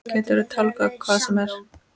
Geturðu tálgað hvað sem er?